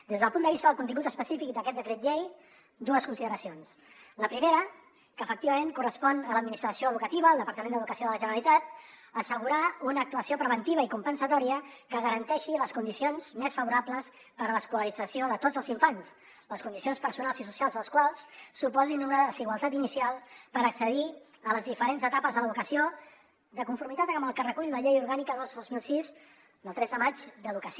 des del punt de vista del contingut específic d’aquest decret llei dues consideracions la primera que efectivament correspon a l’administració educativa al departament d’educació de la generalitat assegurar una actuació preventiva i compensatòria que garanteixi les condicions més favorables per a l’escolarització de tots els infants les condicions personals i socials dels quals suposin una desigualtat inicial per accedir a les diferents etapes de l’educació de conformitat amb el que recull la llei orgànica dos dos mil sis del tres de maig d’educació